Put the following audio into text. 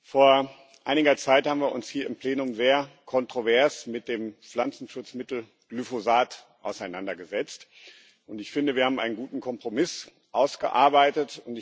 Vor einiger Zeit haben wir uns hier im Plenum sehr kontrovers mit dem Pflanzenschutzmittel Glyphosat auseinandergesetzt, und ich finde, wir haben einen guten Kompromiss ausgearbeitet.